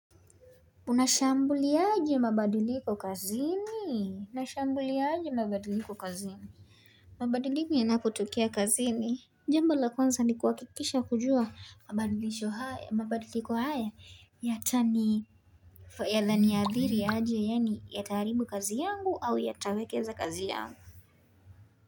Unashambuliaje mabadiliko kazini? Unashambuliaje mabadiliko kazini? Mabadiliko yanapotokea kazini, Jambo la kwanza ni kuhakikisha kujua mabadiliko haya. Yatani yananiadhiri aje. Yataharibu kazi yangu au yatawekeza kazi yangu.